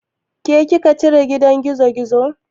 Ke kika cire gidan gizogizon?